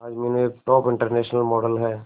आज मीनू एक top international model है